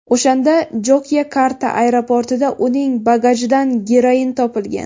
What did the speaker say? O‘shanda Jokyakarta aeroportida uning bagajidan geroin topilgan.